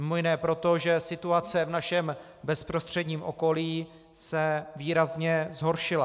Mimo jiné proto, že situace v našem bezprostředním okolí se výrazně zhoršila.